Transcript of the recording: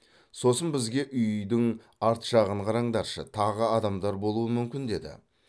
сосын бізге үйдің арт жағын қараңдаршы тағы адамдар болуы мүмкін деді